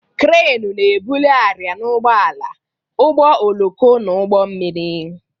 Kranu na-ebuli arịa n'ụgbọala, ụgbọ oloko na ụgbọ mmiri.